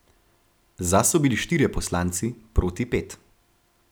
Za so bili štirje poslanci, proti pet.